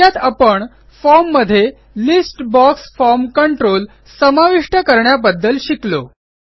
थोडक्यात आपण फॉर्म मध्ये लिस्ट बॉक्स फॉर्म कंट्रोल समाविष्ट करण्याबद्दल शिकलो